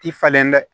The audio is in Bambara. Ti falen dɛ